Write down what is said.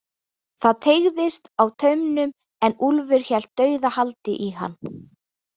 Það teygðist á taumnum en Úlfur hélt dauðahaldi í hann.